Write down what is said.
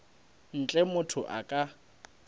ntle a motho a ka